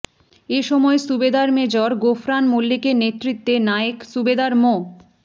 এ সময় সুবেদার মেজর গোফরান মল্লিকের নেতৃত্বে নায়েক সুবেদার মো